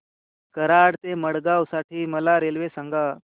कराड ते मडगाव साठी मला रेल्वे सांगा